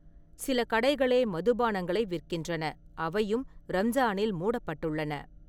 சில கடைகளே மது பானங்களை விற்கின்றன, அவையும் ரம்ஜானில் மூடப்பட்டுள்ளன.